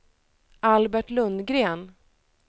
Albert Lundgren